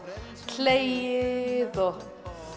hlegið og